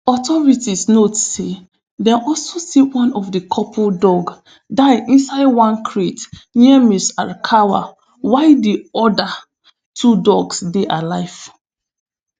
authorities note say dem also see one of di couple dog die inside one crate near ms arakawa while di oda two dogs dey alive